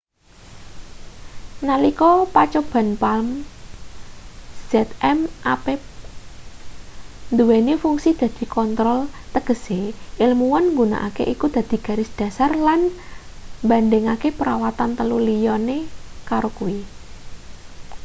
nalika pacoban palm zmapp nduweni fungsi dadi kontrol tegese ilmuwan nggunakake iku dadi garis dhasar lan mbandhingake perawatan telu liyane karo kuwi